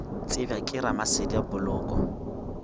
tsebja ke ramasedi a poloko